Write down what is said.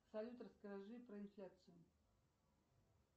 салют расскажи про инфляцию